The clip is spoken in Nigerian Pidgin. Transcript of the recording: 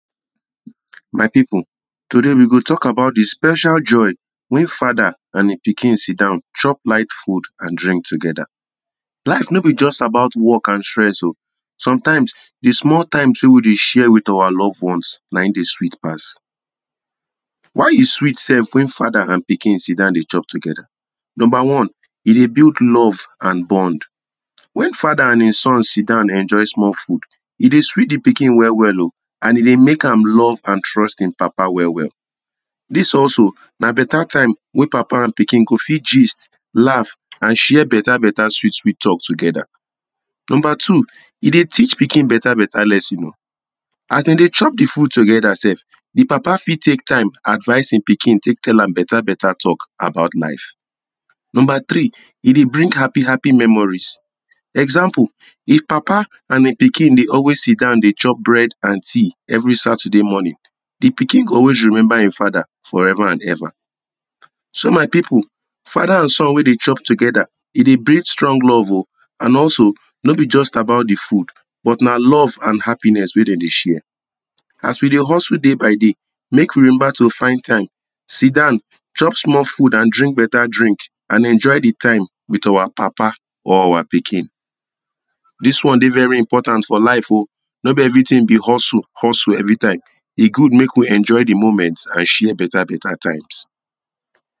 My people, today we go talk about the special joy wey father and e pikin sidon chop light food and drink together. Life no be just about work and stress o. Sometimes, di small time wey we dey share with our loved ones na im dey sweet pass. Why e sweet self when father and pikin sidon dey chop together? Number one, e dey build love and bond. When father and e son sidan enjoy small food, e dey sweet the pikin well well o and e dey make am love and trust e papa well well. This also na better time wey papa and pikin go fit gist, laugh and share better better sweet sweet talk together. Number two, e dey teach pikin better better lesson o. As dem dey chop the food together sef the papa fit take time advice im pikin take tell am better better talk about life. Number three, e de bring happy happy memories. Example: if papa and e pikin de always sidon dey chop bread and tea every Saturday morning, the pikin go always remember im father forever and ever. So my people father and son wey dey chop together, e dey bring strong love o. And also no be just about the food but na love and happiness wey dem dey share. As we de hustle day by day, make we de remember to find time sidon, chop small food and drink better drink and enjoy the time with our papa or our pikin. This one de every important for life o be every thing be hustle every time. E good make we enjoy the moment and share better better times.